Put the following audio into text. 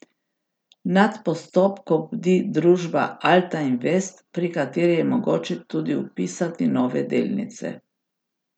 Nad postopkom bdi družba Alta Invest, pri kateri je mogoče tudi vpisati nove delnice.